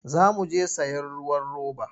Za mu je sayen ruwan roba.